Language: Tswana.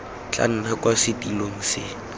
tla nna kwa setilong se